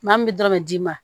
Maa min bɛ dɔrɔn d'i ma